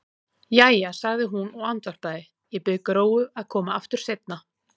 Jæja, sagði hún og andvarpaði, ég bið Gróu að koma aftur seinna.